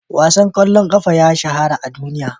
Wasan ƙwallon ƙafa ya shahara a duniya.